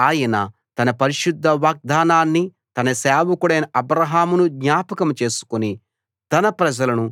ఎందుకంటే ఆయన తన పరిశుద్ధ వాగ్దానాన్ని తన సేవకుడైన అబ్రాహామును జ్ఞాపకం చేసుకుని